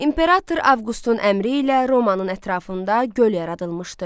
İmperator Avqustun əmri ilə Romanın ətrafında göl yaradılmışdı.